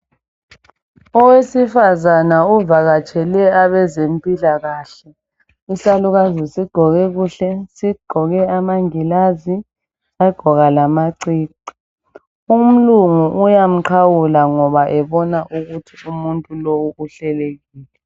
Owesifazana ovakatshele abezempilakahle. Isalukazi sigqoke kuhle sigqoke amangilazi sagqoka lamacici, umlungu uyamqhawula ngoba ebona ukuthi umuntu lowu uhlelekile.